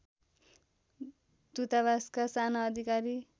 दूतावासका साना अधिकारी